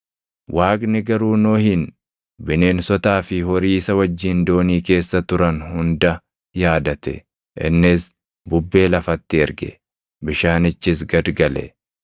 Waaqni garuu Nohin, bineensotaa fi horii isa wajjin doonii keessa turan hunda yaadate. Innis bubbee lafatti erge; bishaanichis gad gale.